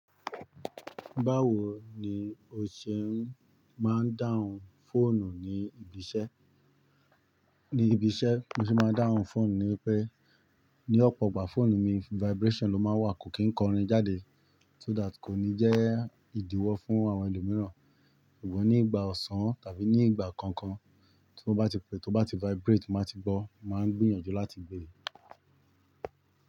Báwo ni o ṣe máa ń dáhùn fóònù ní ibi iṣẹ́? Ní ibi iṣẹ́ mo se máa ń dáhùn fóònù ní pé ní ọ̀pọ̀ ìgbà fóònù mi vibration ló máa ń wà kò kí ń kọrin jáde so that kò ní jẹ́ ìdíwọ́ fún àwọn ẹlòmíràn. Ṣùgbọ́n ní ìgbà ọ̀sán tàbí ní ìgbà kankan tí ó bá ti pé tí ó bá ti vibrate mo máa ti gbọ́, máa ń gbìyànjú láti gbe.